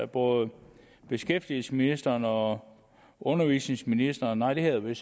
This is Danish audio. både beskæftigelsesministeren og undervisningsministeren nej det hedder det